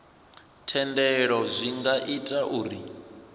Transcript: thendelo zwi nga ita uri